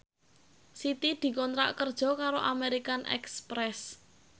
Siti dikontrak kerja karo American Express